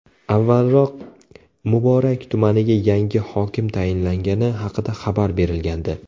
Avvalroq Muborak tumaniga yangi hokim tayinlangani haqida xabar berilgandi .